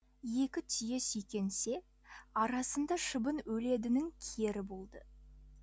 екі түйе сүйкенсе арасында шыбын өледінің кері болды